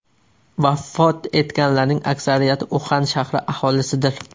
Vafot etganlarning aksariyati Uxan shahri aholisidir.